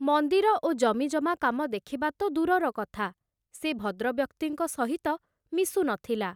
ମନ୍ଦିର ଓ ଜମିଜମା କାମ ଦେଖିବା ତ ଦୂରର କଥା, ସେ ଭଦ୍ରବ୍ୟକ୍ତିଙ୍କ ସହିତ ମିଶୁ ନ ଥିଲା।